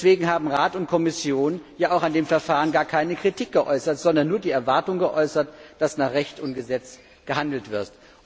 Deswegen haben Rat und Kommission ja auch an dem Verfahren gar keine Kritik geäußert, sondern nur die Erwartung, dass nach Recht und Gesetz gehandelt wird.